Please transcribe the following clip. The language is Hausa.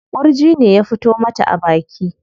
Ƙurji ne ya fito mata a baki.